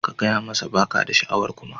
Ka gaya masa ba ka da sha'awar kuma